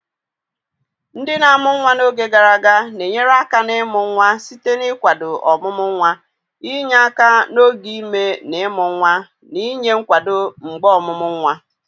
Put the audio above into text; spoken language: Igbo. Ndị na-amụ nwa n'oge gara aga na-enyere aka n'ịmụ nwa site n'ịkwado ọmụmụ nwa, inye aka n'oge ime na ịmụ nwa, na inye nkwado mgbe ọmụmụ nwa.